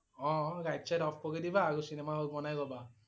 অ' light - চাইট off কৰি দিবা আৰু চিনেমা হল বনাই লবা।